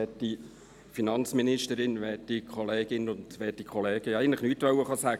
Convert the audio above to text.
Eigentlich wollte ich nichts sagen.